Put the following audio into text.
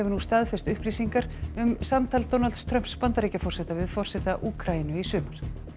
staðfest upplýsingar um samtal Donalds Trumps Bandaríkjaforseta við forseta Úkraínu í sumar